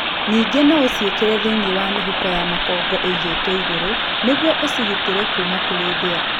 Ningĩ no ũciikare thĩinĩ wa mĩhuko ya makongo ĩigĩtwo igũrũ nĩguo ũcigitĩre kuuma kũrĩ mbea.